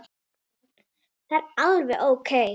Það er alveg ókei.